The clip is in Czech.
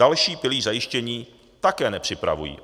Další pilíř zajištění také nepřipravují.